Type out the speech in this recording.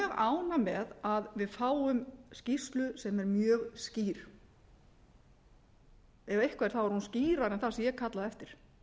ánægð með að við fáum skýrslu sem er mjög skýr ef eitthvað er er hún skýrari en það sem ég kallaði eftir